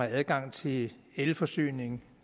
adgang til elforsyning